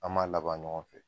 An b'a laban ɲɔgɔn fɛ.